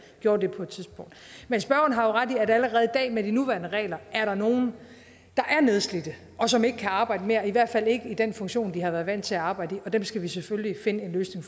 gjorde det på et tidspunkt men spørgeren har jo ret i at der allerede i dag med de nuværende regler er nogle der er nedslidte og som ikke kan arbejde mere i hvert fald ikke i den funktion de har været vant til at arbejde i og dem skal vi selvfølgelig finde en løsning